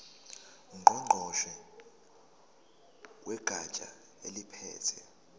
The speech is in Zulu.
ngqongqoshe wegatsha eliphethe